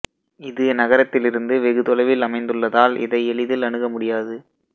இது நகரத்திலிருந்து வெகு தொலைவில் அமைந்துள்ளதால் இதை எளிதில் அணுக முடியாது